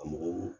Ka mɔgɔw